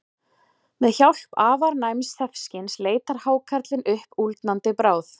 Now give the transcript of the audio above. Með hjálp afar næms þefskyns leitar hákarlinn uppi úldnandi bráð.